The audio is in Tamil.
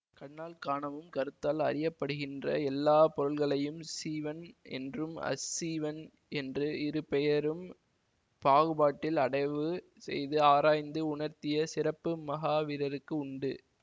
கண்ணால் காணவும் கருத்தால் அறியபடுப்ப்டுகின்ற எல்லா பொருள்களையும் சீவன் என்றும் அசீவன் என்று இரு பெயரும் பாகுபாட்டில் அடைவு செய்து ஆராய்ந்து உணர்த்திய சிறப்பு மகாவீரர்க்கு உண்டு